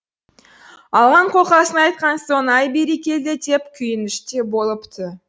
алған қолқасын айтқан соң ай бәрекелді деп күйініште болыпты